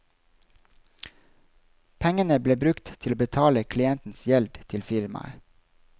Pengene ble brukt til å betale klientens gjeld til firmaet.